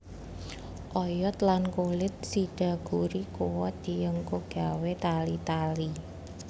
Oyod lan kulit sidaguri kuwat dienggo gawé tali tali